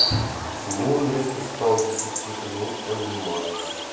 почему он резко стал дефицитным не понимаю